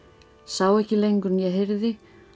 sá ekki lengur né heyrði